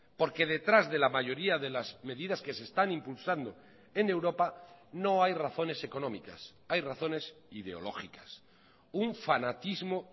porque detrás de la mayoría de las medidas que se están impulsando en europa no hay razones económicas hay razones ideológicas un fanatismo